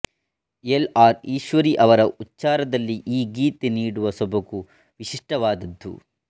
L R Eswari ಅವರ ಉಚ್ಚಾರದಲ್ಲಿ ಈ ಗೀತೆ ನೀಡುವ ಸೊಬಗು ವಿಶಿಷ್ಟವಾದದ್ದು